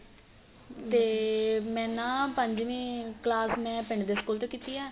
ਤੇ ਮੈਂ ਨਾ ਪੰਜਵੀ ਕਲਾਸ ਪਿੰਡ ਦੇ school ਤੋਂ ਕੀਤੀ ਏ